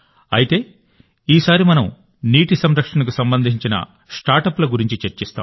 అయితే ఈసారి మనం నీటి సంరక్షణకు సంబంధించిన స్టార్టప్ల గురించి చర్చిస్తాం